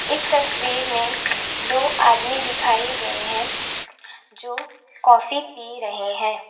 इस तस्वीर में दो आदमी दिखाई गए हैं जो कॉफी पी रहे हैं।